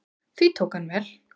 Því tók hann vel.